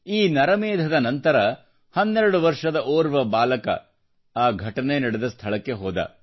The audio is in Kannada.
ಈ ನರಮೇಧದ ನಂತರ 12 ವರ್ಷದ ಓರ್ವ ಬಾಲಕ ಆ ಘಟನೆ ನಡೆದ ಸ್ಥಳಕ್ಕೆ ಹೋದ